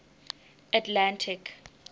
atlantic